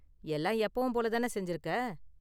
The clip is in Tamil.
எல்லாம் எப்பவும் போல தான செஞ்சுருக்க.